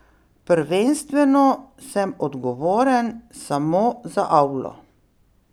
Prvenstveno sem odgovoren samo za avlo.